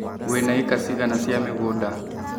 Wĩna ĩka cigana cia mũgũnda.